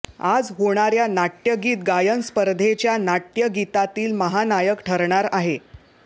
आज होणाऱया नाटय़गीत गायन स्पर्धेच्या नाटय़गीतातील महानायक ठरणार आहे